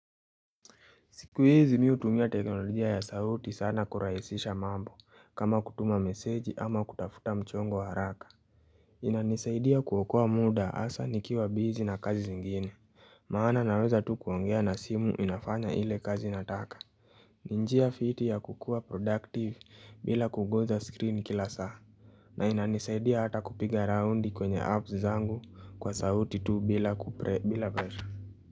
Siku hizi mimi hutumia teknolojia ya sauti sana kurahisisha mambo kama kutuma meseji ama kutafuta mchongo haraka inanisaidia kuokoa muda hasa nikiwa busy na kazi zingine maana naweza tu kuongea na simu inafanya ile kazi nataka ni njia fiti ya kukuwa productive bila kugusa screen kila saa na inanisaidia hata kupiga raundi kwenye apps zangu kwa sauti tu bila presha.